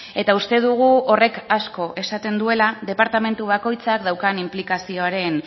eta uste dugu horrek asko esaten duela departamentu bakoitzak daukan inplikazioaren